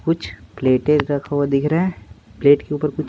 कुछ प्लेटें रखा हुआ दिख रहा है प्लेट के ऊपर कुछ--